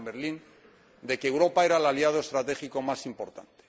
Obama en Berlín de que Europa era el aliado estratégico más importante.